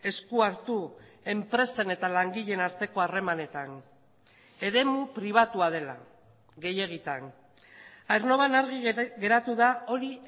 esku hartu enpresen eta langileen arteko harremanetan eremu pribatua dela gehiegitan aernnovan argi geratu da hori